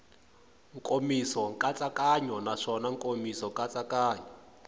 nkomiso nkatsakanyo naswona nkomiso nkatsakanyo